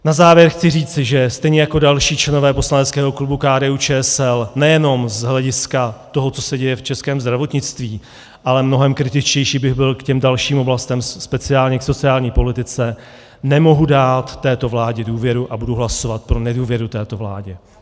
Na závěr chci říci, že stejně jako další členové poslaneckého klubu KDU-ČSL nejenom z hlediska toho, co se děje v českém zdravotnictví, ale mnohem kritičtější bych byl k těm dalším oblastem, speciálně k sociální politice, nemohu dát této vládě důvěru a budu hlasovat pro nedůvěru této vládě.